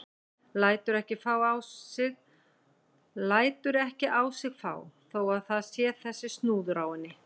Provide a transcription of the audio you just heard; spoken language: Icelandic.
Lætur ekki á sig fá þó að það sé þessi snúður á henni.